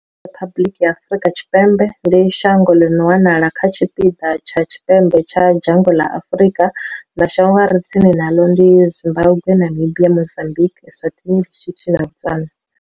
Afrika Tshipembe, Riphabuḽiki ya Afrika Tshipembe, ndi shango ḽi no wanala kha tshipiḓa tsha tshipembe tsha dzhango ḽa Afrika. Mashango a re tsini naḽo ndi Zimbagwe, Namibia, Mozambikwi, Eswatini, ḼiSotho na Botswana.